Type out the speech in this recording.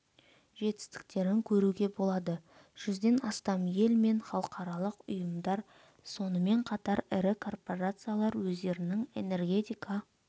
жетістіктерін көруге болады жүзден астам ел мен халықаралық ұйымдар сонымен қатар ірі корпорациялар өздерінің энергетика